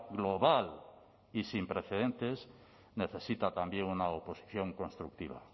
global y sin precedentes necesita también una oposición constructiva